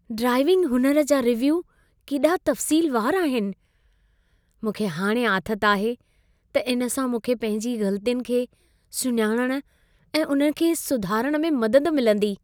Driving हुनर जा review केॾा तफ़सीलवार आहिनि। मूंखे हाणे आथत आहे त इन सां मूंखे पंहिंजी ग़लतियुनि खे सुञाणण ऐं उन्हनि खे सुधारण में मदद मिलंदी।